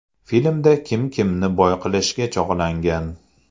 Filmda kim kimni boy qilishga chog‘langan?